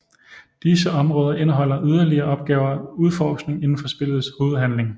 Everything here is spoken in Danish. Disse områder indeholder yderligere opgaver og udforskning indenfor spillets hovedhandling